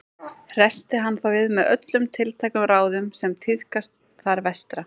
Hressti hann þá við með öllum tiltækum ráðum sem tíðkast þar vestra.